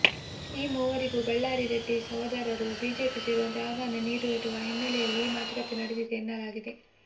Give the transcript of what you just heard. ಈ ಮೂವರಿಗೂ ಬಳ್ಳಾರಿ ರೆಡ್ಡಿ ಸಹೋದರರು ಬಿಜೆಪಿ ಸೇರುವಂತೆ ಆಹ್ವಾನ ನೀಡಿರುವ ಹಿನ್ನಲೆಯಲ್ಲಿ ಈ ಮಾತುಕತೆ ನಡೆದಿದೆ ಎನ್ನಲಾಗಿದೆ